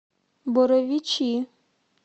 боровичи